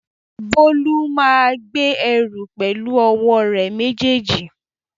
Bólú máa gbé ẹrù pẹ̀lú ọwọ́ rẹ̀ méjèèjì